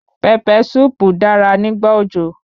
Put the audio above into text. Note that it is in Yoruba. Pẹpẹ súùpù dára nígbà òjò.